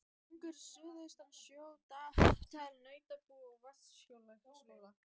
Gjögur suðaustan sjö, Dalatanga, Nautabú, Vatnsskarðshóla.